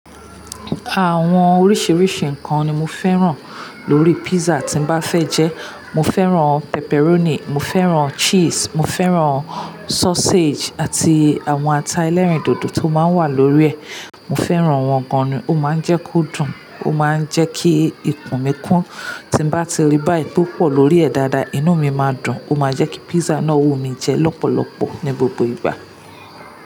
Àwọn oríṣiríṣi nǹkan ni mo fẹ́ràn lórí pizza tí n bá fẹ́ jẹ. Mo fẹ́ràn pepperoni, mo fẹ́ràn cheese, mo fẹ́ràn sausage àti àwọn ata ẹlẹ́rìndòdò tó máa ń wà lórí ẹ̀. Mo fẹ́ràn wọ́n gan ni, ó máa ń jẹ́ kó dùn, ó máa ń jẹ́ kí ikùn mi kún. Tí bá ti rí báyìí tó pọ̀ lórí ẹ̀ dáadáa, inú mi máa dùn, ó máa jẹ́ kí pizza náà wù mí jẹ lọ́pọ̀lọpọ̀ ní gbogbo ìgbà.